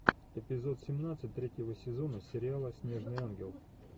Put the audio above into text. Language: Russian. эпизод семнадцать третьего сезона сериала снежный ангел